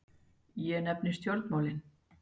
Ég nefni stjórnmálin.